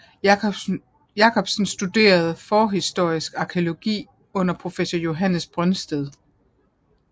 Jacobsen studerede forhistorisk arkæologi under professor Johannes Brøndsted